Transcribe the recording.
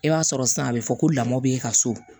I b'a sɔrɔ sisan a bɛ fɔ ko lamɔ bɛ e ka so